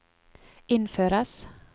innføres